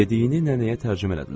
Dediyini nənəyə tərcümə elədilər.